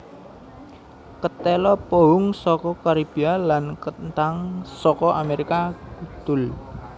Ketéla pohung saka Karibia lan kenthang saka Amérika Kudul